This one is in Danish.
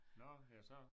Nåh jaså